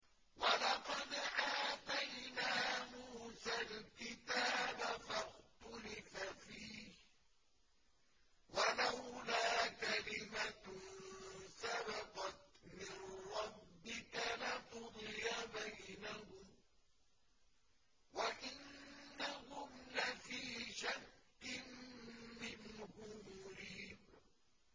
وَلَقَدْ آتَيْنَا مُوسَى الْكِتَابَ فَاخْتُلِفَ فِيهِ ۗ وَلَوْلَا كَلِمَةٌ سَبَقَتْ مِن رَّبِّكَ لَقُضِيَ بَيْنَهُمْ ۚ وَإِنَّهُمْ لَفِي شَكٍّ مِّنْهُ مُرِيبٍ